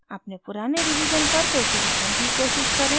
अपने पुराने रिवीजन पर फिर से जाने की कोशिश करें